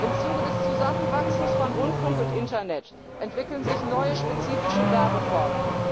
Im Zuge des Zusammenwachsens von Rundfunk und Internet entwickeln sich neue spezifische Werbeformen.